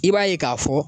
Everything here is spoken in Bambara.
I b'a ye k'a fɔ